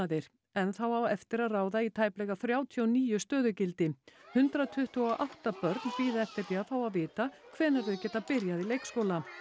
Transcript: enn þá á eftir að ráða í tæplega þrjátíu og níu stöðugildi hundrað tuttugu og átta börn bíða eftir því að fá að vita hvenær þau geta byrjað í leikskóla